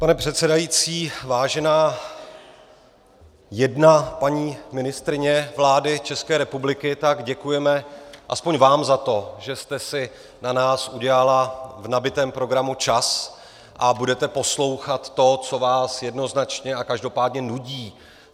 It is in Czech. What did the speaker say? Pane předsedající, vážená jedna paní ministryně vlády České republiky, tak děkujeme alespoň vám za to, že jste si na nás udělala v nabitém programu čas a budete poslouchat to, co vás jednoznačně a každopádně nudí.